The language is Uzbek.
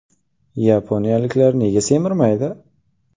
Yaponiyaliklar nega semirmaydi?